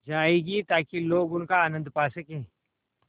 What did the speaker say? जाएगी ताकि लोग उनका आनन्द पा सकें